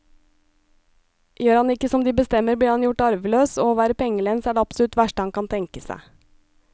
Gjør han ikke som de bestemmer, blir han gjort arveløs, og å være pengelens er det absolutt verste han kan tenke seg.